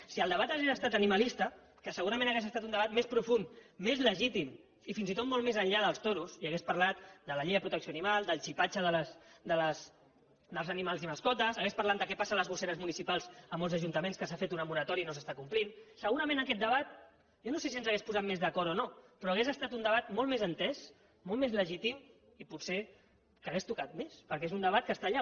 si el debat hagués estat animalista que segurament hauria estat un debat més profund més legítim i fins i tot molt més enllà dels toros i hagués parlat de la llei de protecció animal del xipatge dels animals i mascotes hagués parlat de què passa a les gosseres municipals a molts ajuntaments que s’ha fet una moratòria i no s’està complint segurament aquest debat jo no sé si ens hauria posat més d’acord o no però hauria estat un debat molt més entès molt més legítim i potser que hauria tocat més perquè és un debat que està allà